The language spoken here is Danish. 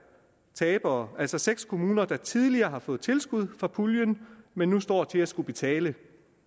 tabere altså seks kommuner der tidligere har fået tilskud fra puljen men nu står til at skulle betale